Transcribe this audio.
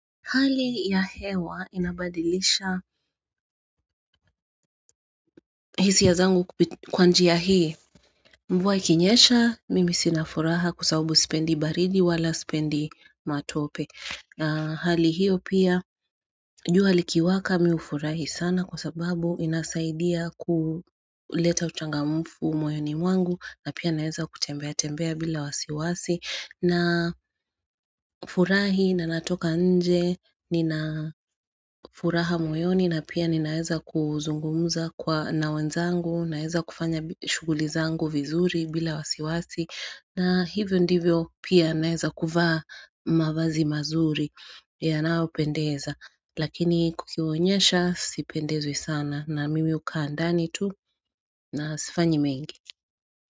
Hali ya hewa inabadilisha hisiya zangu kwa njiya hii mvuwa ikinyesha mimi sina furaha kuasawabu sipendi baridi wala sipendi matope Hali hiyo pia juha likiwaka mi ufurahi sana kwa sababu inasaidia kuleta uchangamufu moyoni mwangu na pia naeza kutembea tembea bila wasiwasi na furahi na natoka nje nina furaha moyoni na pia ni naeza kuzungumuza kwa na wenzangu naeza kufanya shuguli zangu vizuri bila wasiwasi na hivyo ndivyo pia naeza kufaa mavazi mazuri yanaopendeza lakini kukiwonyesha sipendezwi sana na mimi ukaa ndani tu na sifanyi mengi.